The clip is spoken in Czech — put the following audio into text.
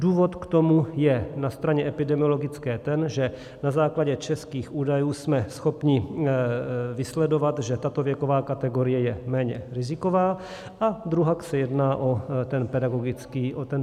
Důvod k tomu je na straně epidemiologické ten, že na základě českých údajů jsme schopni vysledovat, že tato věková kategorie je méně riziková, a druhak se jedná o ten pedagogický aspekt.